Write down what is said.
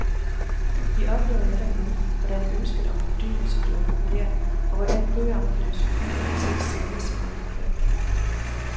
Vi oplever netop nu, hvordan ønsket om fordybelse bliver populært, og hvordan bøger om filosofi og etik sælges som aldrig før.